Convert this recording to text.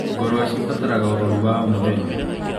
Ngũrũwe cirabatara ũrori wa o mũthenya.